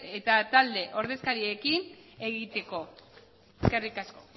eta talde ordezkariekin egiteko eskerrik asko